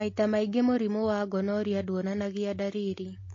Maita maingĩ mũrimũ wa gonorrhea nduonanagia ndariri